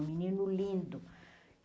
Um menino lindo.